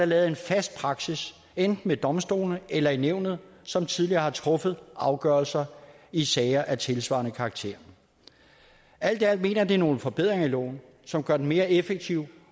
lavet en fast praksis enten ved domstolene eller i nævnet som tidligere har truffet afgørelser i sager af tilsvarende karakter alt i alt mener det er nogle forbedringer i loven som gør den mere effektiv